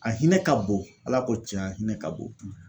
A hinɛ ka bon, Ala ko tiɲɛ a hinɛ ka bon .